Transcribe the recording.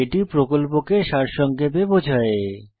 এটি প্রকল্পকে সারসংক্ষেপে বোঝায়